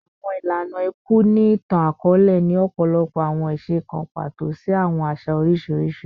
Awọn ilana iku ni itan-akọọlẹ ni ọpọlọpọ awọn iṣe kan pato si awọn aṣa oriṣiriṣi